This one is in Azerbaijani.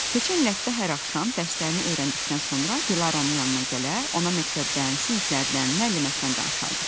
Keçən il Lətifə hər axşam dərslərini öyrəndikdən sonra Dilaranın yanına gələr, ona məktəbdən, siniflərdən, müəlliməsindən danışardı.